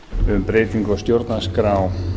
um breytingu á stjórnarskrá